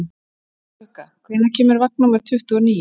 Bláklukka, hvenær kemur vagn númer tuttugu og níu?